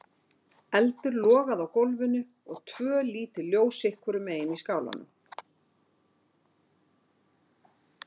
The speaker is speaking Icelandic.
Eldur logaði á gólfinu og tvö lítil ljós sitt hvorum megin í skálanum.